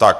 Tak.